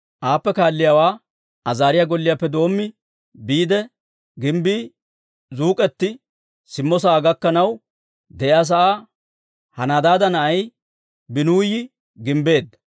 Aappe kaalliyaawaa Azaariyaa golliyaappe doommi, biide gimbbii zuuk'eti simmo sa'aa gakkanaw de'iyaa sa'aa Henadaada na'ay Biinuyi gimbbeedda.